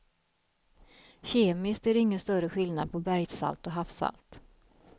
Kemiskt är det ingen större skillnad på bergssalt och havssalt.